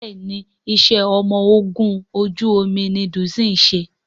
Béèni iṣé ọmọ ògún ojú omí ní Doyin ṣe.